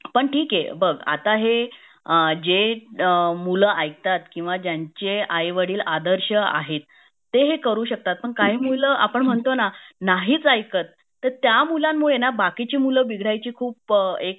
पण ठिके बघ आता हे अ जे मुलं आहे ऐकतात कीव ज्यांचे आई वडील आदर्श आहेत ते हे करू शकतात पण काही मुलं आपण म्हणतो ना नाहीच ऐकत तर त्या मुलांमुळे बाकीची मूल बिघडायची खूप एक